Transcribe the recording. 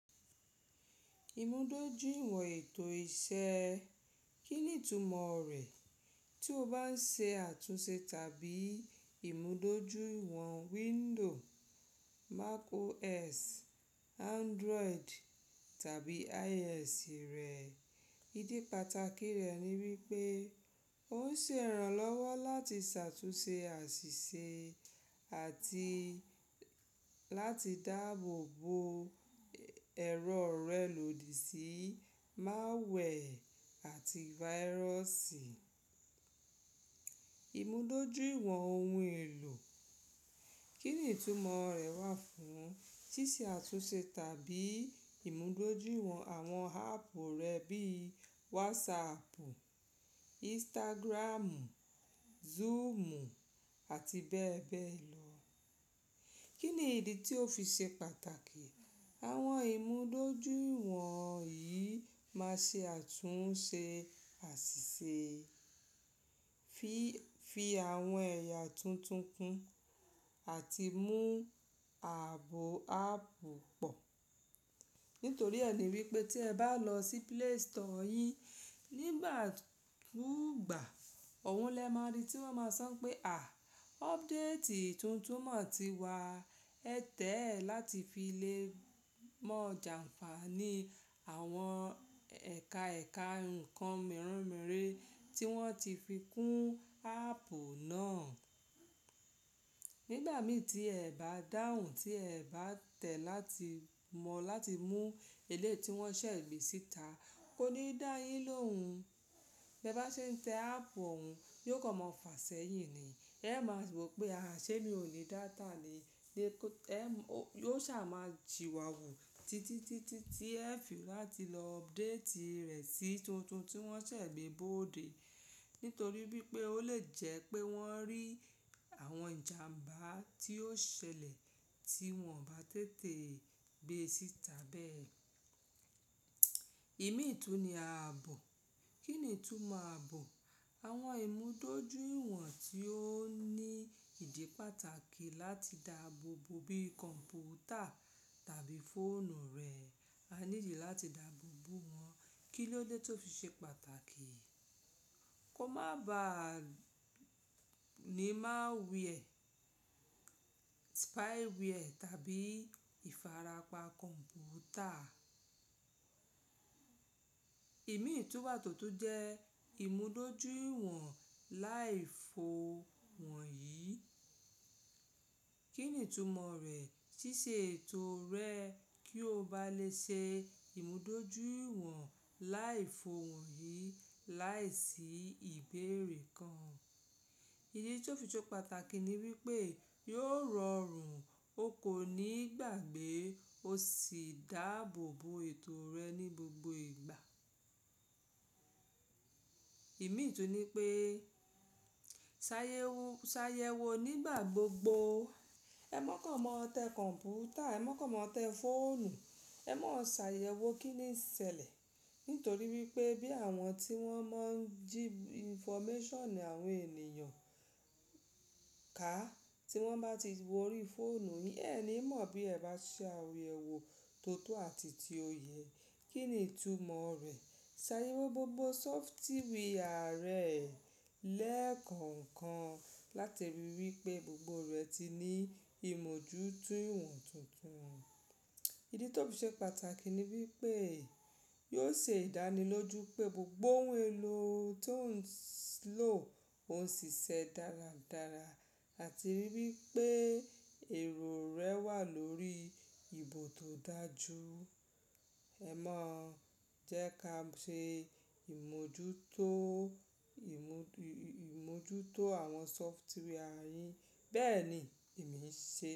Imudojuiwọn eto iṣẹ, kini itumo rẹ? Ti o ba n ṣe atunṣe tabi imudojuiwọn Windows, macOS, Android tabi iOS rẹ, idi pataki rẹ ni wipe o ṣe iranlọwọ lati ṣatunṣe asise ati lati daabo bo ẹrọ rẹ lodi si malware ati virus. Imudojuiwọn ohun elo, kini itumo rẹ wa fun? Ṣiṣe atunṣe tabi imudojuiwọn awọn aapu rẹ bi WhatsApp, Instagram, Zoom ati bẹẹ bẹẹ lọ. Kini idi ti o fi ṣe pataki? Awọn imudojuiwọn yii ma ṣe atunṣe asise, fi awọn ẹya tuntun kun ati mu aabo aapu pọ. Nitori ẹ ni wipe ti ẹ ba lọ si play store yin nigba kugba, oun lẹ ma ri ti wọn ma san pe a, update tuntun mo ti wa, ẹ tẹ ẹ lati fi le mọ janfani awọn eka eka nkan mere mere ti wọn ti fi kun aapu naa. Nigba mi ti ẹ ba dahun, ti ẹ ba tẹ lati mọ lati mu eleyi ti wọn ṣẹ gbe sita, ko ni da yin lohun. Bẹ ba ṣe n tẹ apu oun, yio ko mọ fa sẹhin ni. E ma gbo pe a, ṣe mi o ni data ni. E yo ṣa ma siwawu titi ti ẹ fi lati lọ update rẹ si tuntun ti wọn ṣẹ gbe bode. Nitori wipe o le jẹ pe wọn ri awọn ijàmbá ti o ṣẹlẹ ti wọn ba tete gbe sita bẹẹ. Imi i tun ni aabo. Kini itumo aabo? Awọn imudojuiwọn ti o ni idi pataki lati daabo bo bi kọnputa tabi foonu rẹ, a need lati daabo bo wọn. Kílo de tó fi ṣe pàtàkì? Ko ma ba ni malware, spyware tabi ifarapa kọnputa. Emi tun wa totun jẹ imudojuiwọn laifu wọn yi. Kini itumo rẹ? Ṣiṣe eto rẹ ki o ba le ṣe imudojuiwọn laifu wọn yi laisi ibeere kan. Idi ti o fi ṣe pataki ni wipe yoo rọrun, o ko ni gbagbe, o si daabo bo eto rẹ ni gbogbo igba. Emi tun ni pe, sayewo nigba gbogbo. E mọ kàn mọ tẹ kọnputa, ẹ mọ kàn mọ tẹ foonu, ẹ mọ sayewo kini ṣẹlẹ. Nitori wipe bi awọn ti wọn mọ ji infomẹṣion awọn eniyan ka ti wọn ba ti wo ori foonu yin, ẹ ni mọ bi ẹ ba ṣe awuyewo toto ati ti o yẹ. Kini itumo rẹ? Sayewo gbogbo sọfitiwia rẹ lẹẹkọọkan lati rii wipe gbogbo rẹ ti ni imojuto iwọn tuntun. Idi ti o fi ṣe pataki ni wipe yoo ṣe idaniloju pe gbogbo ohun elo ti o n lo, o n ṣiṣẹ daradara ati rii wipe ẹrọ rẹ wa lori ibo to daju. E mọ jẹ ka ṣe imojuto, imojuto awọn sọfitiwia yin. Bẹẹni, Emi ṣe.